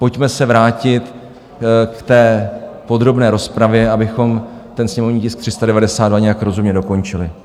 Pojďme se vrátit k té podrobné rozpravě, abychom ten sněmovní tisk 392 nějak rozumně dokončili.